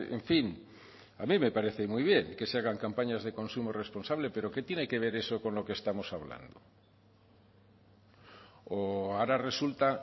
en fin a mí me parece muy bien que se hagan campañas de consumo responsable pero que tiene que ver eso con lo que estamos hablando o ahora resulta